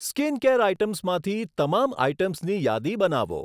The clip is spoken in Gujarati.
સ્કીનકેર આઇટમ્સમાંથી તમામ આઇટમ્સની યાદી બનાવો.